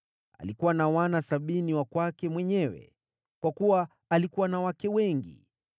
Alikuwa na wana sabini wa kwake mwenyewe, kwa kuwa alikuwa na wake wengi.